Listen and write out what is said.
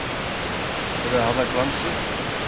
Heldurðu að það glansi!